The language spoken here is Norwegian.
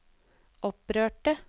opprørte